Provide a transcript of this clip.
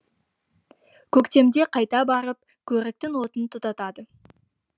көктемде қайта барып көріктің отын тұтатады